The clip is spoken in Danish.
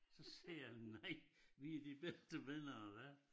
Så siger jeg nej vi er de bedste venner der er